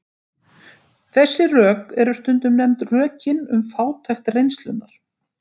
Þessi rök eru stundum nefnd rökin um fátækt reynslunnar.